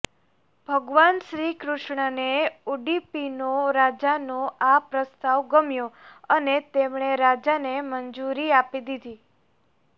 ભગવાન શ્રીકૃષ્ણને ઉડીપીનો રાજાનો આ પ્રસ્તાવ ગમ્યો અને તેમણે રાજાને મંજૂરી આપી દીધી